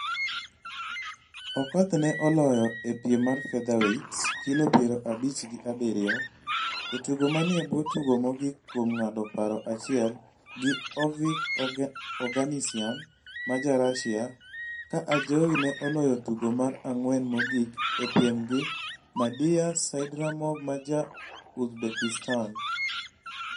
Okoth ne oloye e piem mar featherweight (kilo piero abich gi abiriyo) e tugo manie bwo tugo mogik kuom ng'ado paro achiel gi Ovik Oganisyan ma Ja-Russia ka Ajowi ne oloyo tugo mar ng'wen mogik e piem gi Madiyar Saidrahmov ma Ja-Uzbekistan.